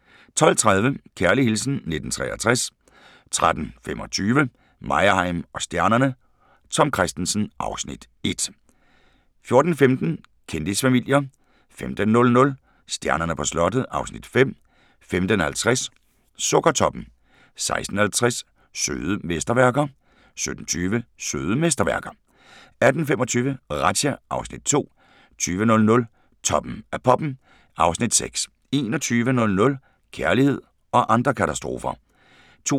12:30: Kærlig hilsen 1963 13:25: Meyerheim & stjernerne: Tom Kristensen (Afs. 1) 14:15: Kendisfamilier 15:00: Stjernerne på slottet (Afs. 5) 15:50: Sukkertoppen 16:50: Søde mesterværker 17:20: Søde mesterværker 18:25: Razzia (Afs. 2) 20:00: Toppen af poppen (Afs. 6) 21:00: Kærlighed og andre katastrofer